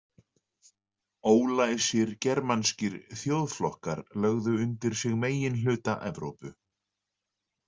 Ólæsir germanskir þjóðflokkar lögðu undir sig meginhluta Evrópu.